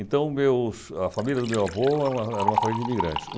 Então, meus a família do meu avô era era uma família de imigrantes.